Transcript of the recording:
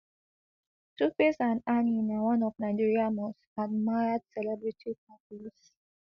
tuface and annie na one of nigeria most admired celebrity couples